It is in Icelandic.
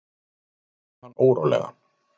Það gerði hann órólegan.